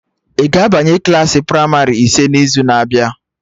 Ị ga-abanye Klassị pramarị ise n'izu na abịa?